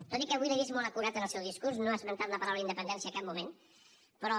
tot i que avui l’he vist molt acurat en el seu discurs no ha esmentat la paraula independència en cap moment però